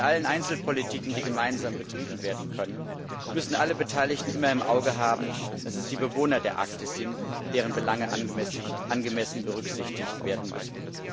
Bei allen Einzelbereichen der Politik, die gemeinsam betrieben werden können, müssen alle Beteiligten immer im Auge haben, dass es die Bewohner der Arktis sind, deren Belange angemessen berücksichtigt werden müssen.